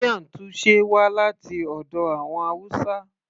miyan taushe wá láti ọ̀dọ̀ àwọn hausa